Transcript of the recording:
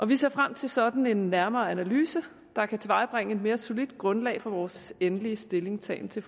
vi ser frem til sådan en nærmere analyse der kan tilvejebringe et mere solidt grundlag for vores endelige stillingtagen til